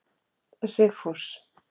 Sigfús